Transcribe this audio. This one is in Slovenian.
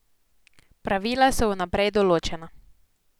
Pravila so vnaprej določena.